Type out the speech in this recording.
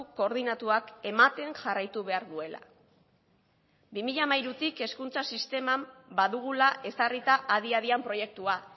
koordinatuak ematen jarraitu behar duela bi mila hamairutik hezkuntza sisteman badugula ezarrita adi adian proiektua